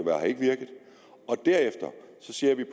derefter ser vi